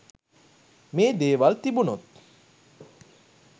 මේදේවල් තිබුනොත්